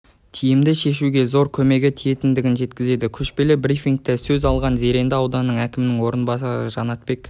тиімді шешуге зор көмегі тиетіндігін жеткізді көшпелі брифингте сөз алған зеренді ауданы әкімінің орынбасары жанатбек